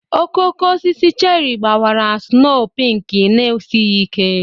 Okooko osisi cheri gbawara snoo pinki na-esighi ike.